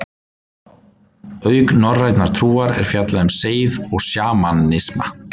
Auk norrænnar trúar er fjallað um seið og sjamanisma.